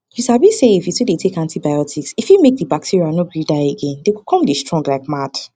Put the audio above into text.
you sabi say if you to dey take antibiotics e fit make the bacteria no gree die again them go come strong like mad